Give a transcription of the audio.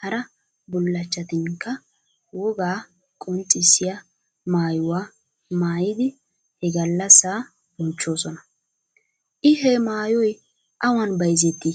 hara bullachchatinkka wogaa qonccissiya maayuwa maayidi he gallassa bonchchoosona. I he maayoy awan bayizetti?